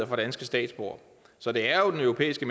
for danske statsborgere så det er jo den europæiske